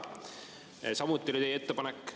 Samuti oli teie ettepanek …